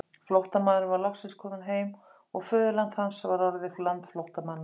Flóttamaðurinn var loksins kominn heim og föðurland hans var orðið land flóttamanna.